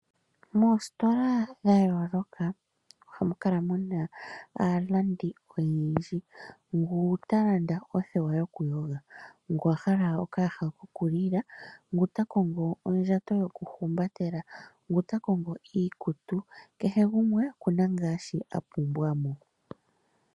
Moositola dhayooloka ohamu kala muna aalandi oyendji. Ngu talanda othewa yokuyoga, ngu ahala okayaha kokulila, ngu takongo ondjato yokuhumbatela, ngu takongo iikutu. Kehe gumwe okuna shoka apumbwa mo.